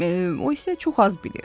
O isə çox az bilir.